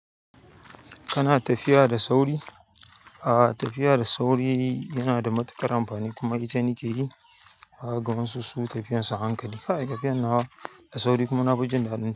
Kana tafiya da sauri? A tafiya da sauri yana da matuƙar amfani kuma ita ni nake yi. Wasu su tafiyan suba hankali ne. Kai t afiyar nawa da sauri kuma na fi jin daɗin tah.